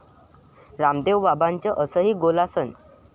रामदेव बाबांचं असंही 'गोलासन'!